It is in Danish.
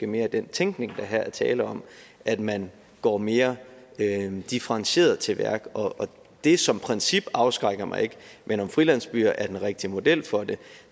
mere den tænkning der her er tale om at man går mere differentieret til værks og det som princip afskrækker mig ikke men om frilandsbyer er den rigtige model for det